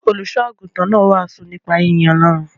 Olùṣọ́-àgùntàn náà wàásù nípa yínyin Ọlọ́run.